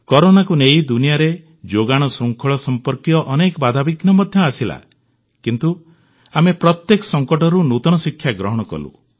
କରୋନାକୁ ନେଇ ଦୁନିଆରେ ଯୋଗାଣଶୃଙ୍ଖଳ ସମ୍ପର୍କିତ ଅନେକ ବାଧାବିଘ୍ନ ମଧ୍ୟ ଆସିଲା କିନ୍ତୁ ଆମେ ପ୍ରତ୍ୟେକ ସଙ୍କଟରୁ ନୂତନ ଶିକ୍ଷା ଗ୍ରହଣ କଲୁ